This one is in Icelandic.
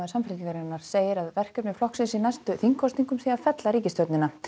Samfylkingarinnar segir að verkefni flokksins í næstu þingkosningum sé að fella ríkisstjórnina